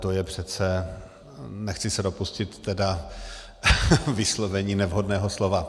To je přece... nechci se dopustit tedy... vyslovení nevhodného slova.